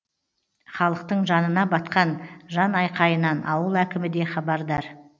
халықтың жанына батқан жанайқайынан ауыл әкімі де хабардар